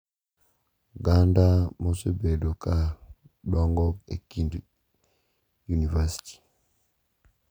Oganda ma osebedo ka dongo e kind yunivasiti,